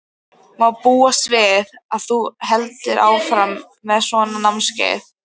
Má búast við að þú haldir áfram með svona námskeið?